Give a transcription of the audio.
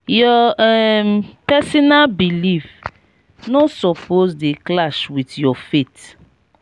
your um personal belif no suppose dey clash wit your faith.